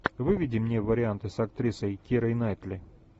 выведи мне варианты с актрисой кирой найтли